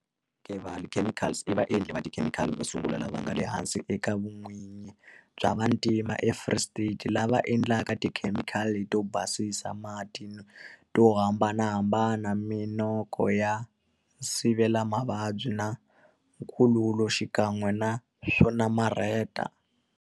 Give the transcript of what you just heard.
Kevali Chemicals i vaendli va tikhemikhali vo sungula lava nga le hansi ka vun'winyi bya vantima eFree State lava endlaka tikhemikhali to basisa mati to hambanahambana, min'oko ya nsivelamavabyi na nkululo xikan'we na swo namarheta.